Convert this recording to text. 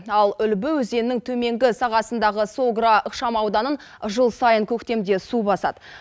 ал үлбі өзенінің төменгі сағасындағы согра ықшам ауданын жыл сайын көктемде су басады